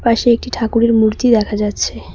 পাশে একটি ঠাকুরের মূর্তি দেখা যাচ্ছে।